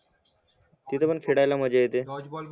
तीत खेड्याला माझ्या येते डॉजबॉल